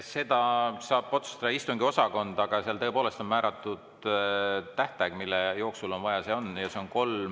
Seda saab otsustada istungiosakond, aga tõepoolest on määratud tähtaeg, mille jooksul on vaja, ja see on kolm …